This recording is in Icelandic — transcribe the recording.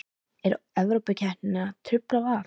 Er Evrópukeppnin að trufla Val?